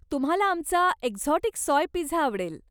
तुम्हाला आमचा exotic soy pizza आवडेल.